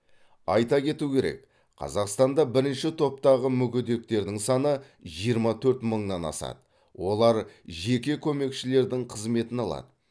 айта кету керек қазақстанда бірінші топтағы мүгедектердің саны жиырма төрт мыңнан асады олар жеке көмекшілердің қызметін алады